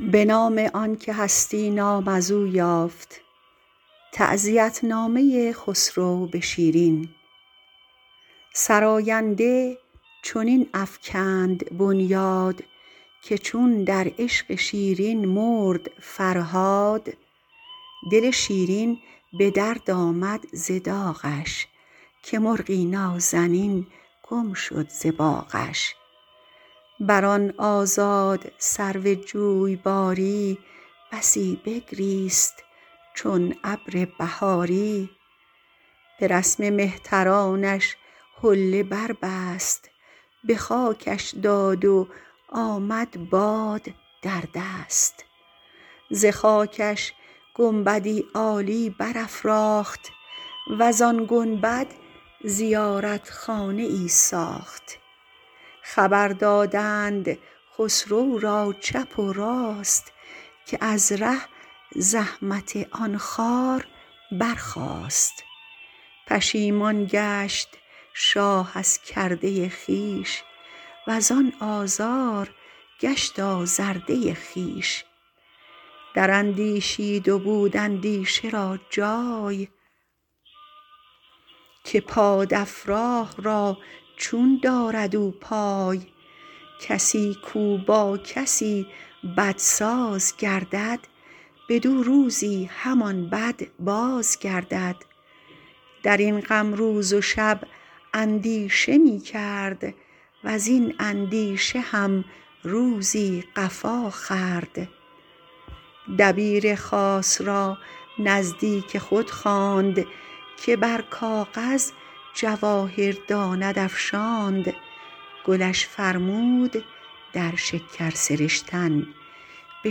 سراینده چنین افکند بنیاد که چون در عشق شیرین مرد فرهاد دل شیرین به درد آمد ز داغش که مرغی نازنین گم شد ز باغش بر آن آزاد سرو جوی بار ی بسی بگریست چون ابر بهاری به رسم مهترانش حله بر بست به خاکش داد و آمد باد در دست ز خاکش گنبد ی عالی برافراخت وز آن گنبد زیارت خانه ای ساخت خبر دادند خسرو را چپ و راست که از ره زحمت آن خار برخاست پشیمان گشت شاه از کرده خویش وز آن آزار گشت آزرده خویش در اندیشید و بود اندیشه را جای که باد افراه را چون دارد او پای کسی کاو با کسی بد ساز گردد بدو روزی همان بد باز گردد در این غم روز و شب اندیشه می کرد وزین اندیشه هم روزی قفا خورد دبیر خاص را نزدیک خود خواند که بر کاغذ جواهر داند افشاند گلش فرمود در شکر سرشتن به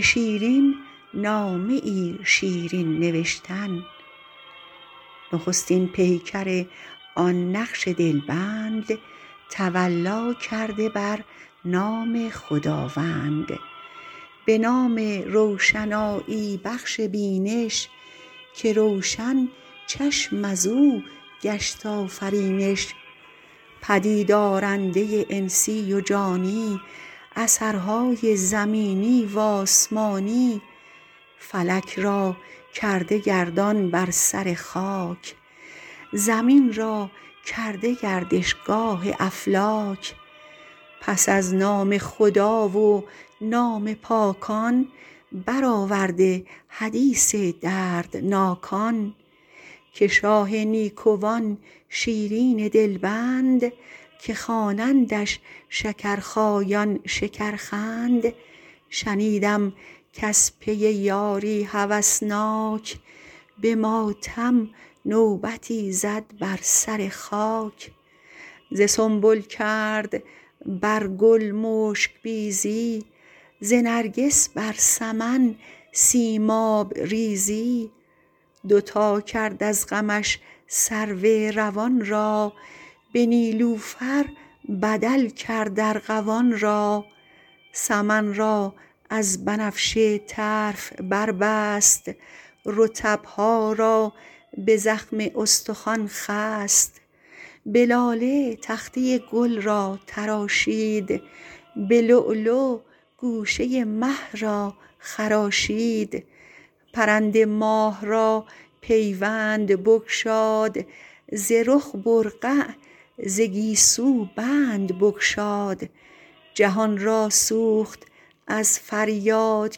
شیرین نامه شیرین نوشتن نخستین پیکر آن نقش دل بند تولا کرده بر نام خداوند به نام روشنایی بخش بینش که روشن چشم از او گشت آفرینش پدید آرنده انسی و جانی اثرهای زمینی و آسمانی فلک را کرده گردان بر سر خاک زمین را جای گردش گاه افلاک پس از نام خدا و نام پاکان برآورده حدیث دردناکان که شاه نیکوان شیرین دل بند که خوانندش شکرخایان شکرخند شنیدم کز پی یاری هوس ناک به ماتم نوبتی زد بر سر خاک ز سنبل کرد بر گل مشک بیزی ز نرگس بر سمن سیماب ریزی دو تا کرد از غمش سرو روان را به نیلوفر بدل کرد ارغوان را سمن را از بنفشه طرف بربست رطب ها را به زخم استخوان خست به لاله تخته گل را تراشید به لؤلؤ گوشه مه را خراشید پرند ماه را پیوند بگشاد ز رخ برقع ز گیسو بند بگشاد جهان را سوخت از فریاد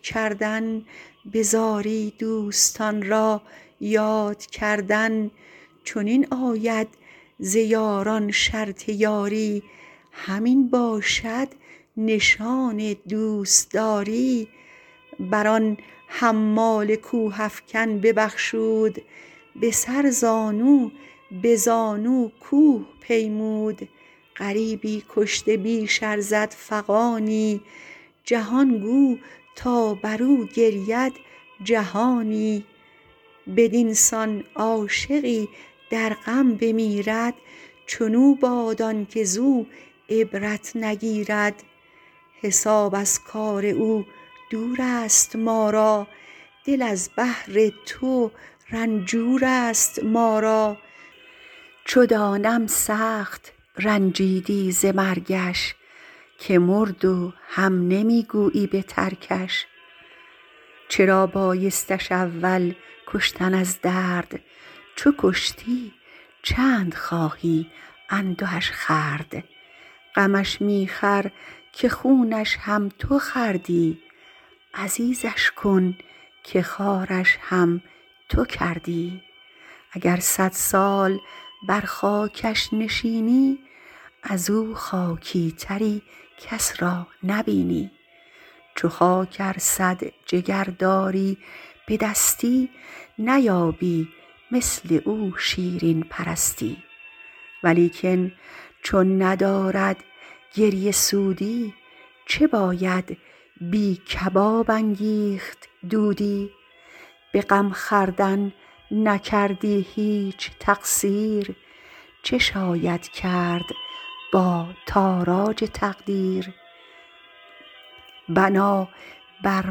کردن به زاری دوستان را یاد کردن چنین آید ز یاران شرط یاری همین باشد نشان دوست داری بر آن حمال کوه افکن ببخشود به سر زانوبه زانو کوه پیمود غریبی کشته بیش ارزد فغانی جهان گو تا بر او گرید جهانی بدین سان عاشقی در غم بمیرد چون او باد آن که زو عبرت نگیرد حساب از کار او دور است ما را دل از بهر تو رنجور است ما را چو دانم سخت رنجیدی ز مرگش که مرد و هم نمی گویی به ترکش چرا بایستش اول کشتن از درد چو کشتی چند خواهی اندهش خورد غمش می خور که خونش هم تو خوردی عزیزش کن که خوارش هم تو کردی اگر صد سال بر خاکش نشینی از او خاکی تری کس را نبینی چو خاک ار صد جگر داری به دستی نیابی مثل او شیرین پرستی ولیکن چون ندارد گریه سودی چه باید بی کباب انگیخت دودی به غم خوردن نکردی هیچ تقصیر چه شاید کرد با تاراج تقدیر بنا بر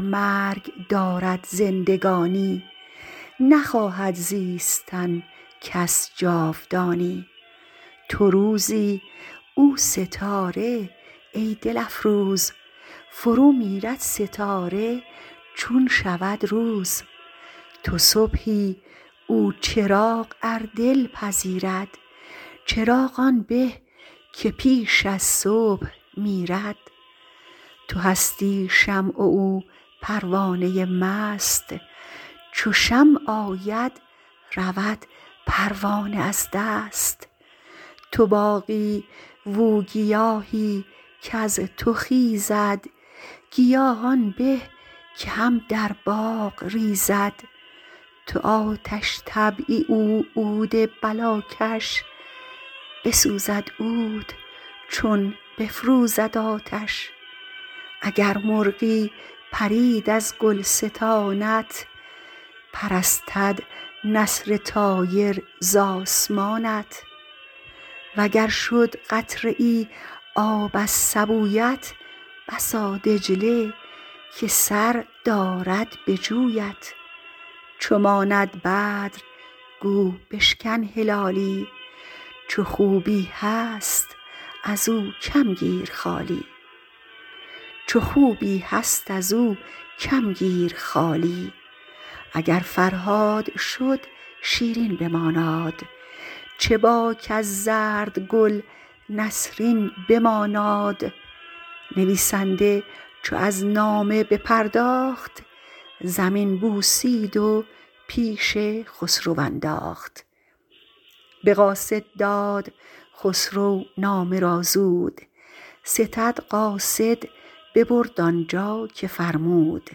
مرگ دارد زندگانی نخواهد زیستن کس جاودانی تو روزی او ستاره ای دل افروز فرومیرد ستاره چون شود روز تو صبحی او چراغ ار دل پذیرد چراغ آن به که پیش از صبح میرد تو هستی شمع و او پروانه مست چو شمع آید رود پروانه از دست تو باغی و او گیاهی کز تو خیزد گیاه آن به که هم در باغ ریزد تو آتش طبعی او عود بلا کش بسوزد عود چون بفروزد آتش اگر مرغی پرید از گلستانت پرستد نسر طایر ز آسمانت و گر شد قطره ای آب از سبو یت بسا دجله که سر دارد به جویت چو ماند بدر گو بشکن هلالی چو خوبی هست ازو کم گیر خالی اگر فرهاد شد شیرین بماناد چه باک از زرد گل نسرین بماناد نویسنده چو از نامه بپرداخت زمین بوسید و پیش خسرو انداخت به قاصد داد خسرو نامه را زود ستد قاصد ببرد آن جا که فرمود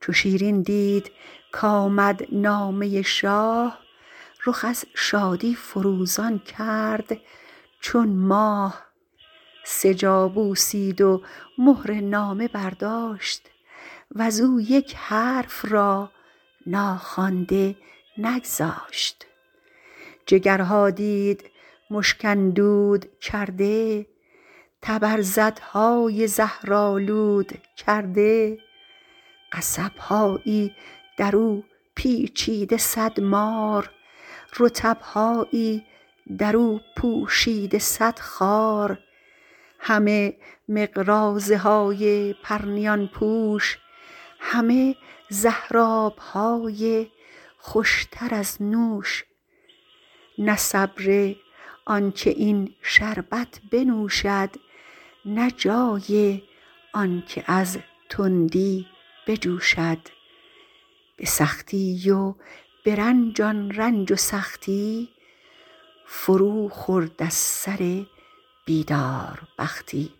چو شیرین دید کآمد نامه شاه رخ از شادی فروزان کرد چون ماه سه جا بوسید و مهر نامه برداشت وز او یک حرف را ناخوانده نگذاشت جگر ها دید مشک اندود کرده طبرزد های زهر آلود کرده قصب هایی در او پیچیده صد مار رطب هایی در او پوشیده صد خار همه مقراضه های پرنیان پوش همه زهر أب های خوش تر از نوش نه صبر آن که این شربت بنوشد نه جای آن که از تندی بجوشد به سختی و به رنج آن رنج و سختی فروخورد از سر بیدار بختی